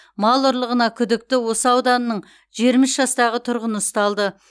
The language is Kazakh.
мал ұрлығына күдікті осы ауданының жиырма үш жастағы тұрғыны ұсталды